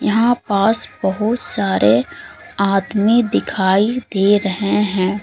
यहां पास बहुत सारे आदमी दिखाई दे रहे हैं।